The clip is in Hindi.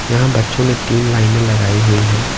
यहां बच्चों ने तीन लाइनें लगाई हुई हैं।